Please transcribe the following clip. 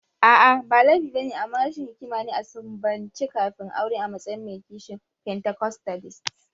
A'a, ba laifi ba ne, amma rashin hikima ne a sumbance kafin aure a matsayin mai kishin pentacostalist.